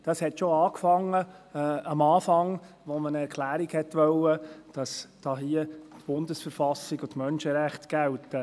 Das fing schon zu Beginn damit an, als man eine Erklärung wollte, wonach hier die BV und die Menschenrechte gelten.